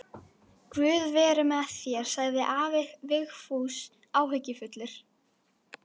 Guð veri með þér, sagði afi Vigfús áhyggjufullur.